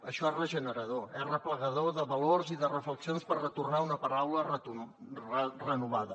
això és regenerador és arreplegador de valors i de reflexions per retornar una paraula renovada